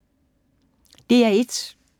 DR1